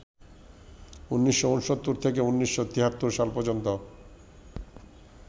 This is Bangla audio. ১৯৬৯ থেকে ১৯৭৩ সাল পর্যন্ত